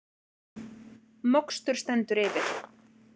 Mokstur stendur yfir